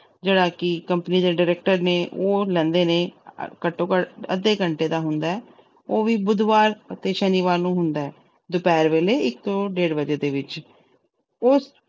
ਜਿਹੜਾ ਕਿ company ਦੇ director ਨੇ, ਉਹ ਲੈਂਦੇ ਨੇ। ਘੱਟੋ-ਘੱਟ ਅੱਧੇ ਘੰਟੇ ਦਾ ਹੁੰਦਾ। ਉਹ ਵੀ ਬੁੱਧਵਾਰ ਤੇ ਸ਼ਨੀਵਾਰ ਨੂੰ ਹੁੰਦਾ। ਦੁਪਹਿਰ ਵੇਲੇ ਇੱਕ ਤੋਂ ਡੇਢ ਵਜੇ ਦੇ ਵਿੱਚ। ਉਸ